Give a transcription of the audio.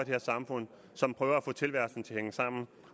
her samfund som prøver at få tilværelsen til at hænge sammen